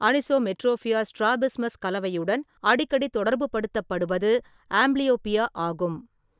Anisometropia strabismus கலவையுடன் அடிக்கடி தொடர்புப்படுத்தப்படுவது ஆம்ப்லியோப்பியா ஆகும்.